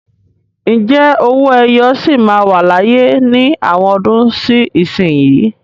Ǹjẹ́ owó ẹyọ sì máa wà láyé ní àwọn ọdún sí ìsinsìnyí?